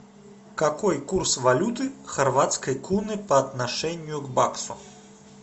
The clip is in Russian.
какой курс валюты хорватской куны по отношению к баксу